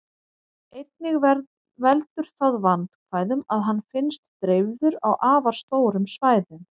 Einnig veldur það vandkvæðum að hann finnst dreifður á afar stórum svæðum.